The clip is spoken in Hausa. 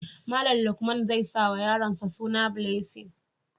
Malam haihu zai sa wa yaronsa suna Blessing